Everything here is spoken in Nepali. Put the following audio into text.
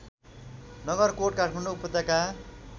नगरकोट काठमाडौँ उपत्यका